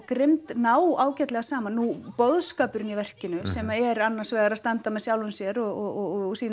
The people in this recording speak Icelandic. grimmd ná ágætlega saman nú boðskapurinn í verkinu sem er annars vegar að standa með sjálfum sér og sýna